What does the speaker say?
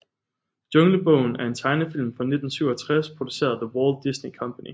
Junglebogen er en tegnefilm fra 1967 produceret af The Walt Disney Company